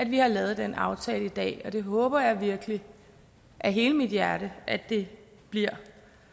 vi har lavet den aftale i dag det håber jeg virkelig af hele mit hjerte at det bliver